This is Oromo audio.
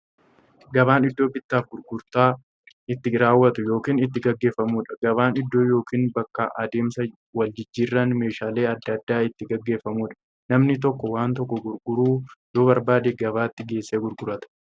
Gabaan iddoo bittaaf gurgurtaan itti raawwatu yookiin itti gaggeeffamuudha. Gabaan iddoo yookiin bakka adeemsa waljijjiiraan meeshaalee adda addaa itti gaggeeffamuudha. Namni tokko waan tokko gurguruu yoo barbaade, gabaatti geessee gurgurata.